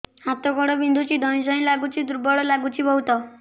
ହାତ ଗୋଡ ବିନ୍ଧୁଛି ଧଇଁସଇଁ ଲାଗୁଚି ଦୁର୍ବଳ ଲାଗୁଚି ବହୁତ